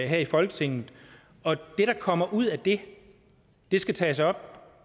her i folketinget og det der kommer ud af det skal tages op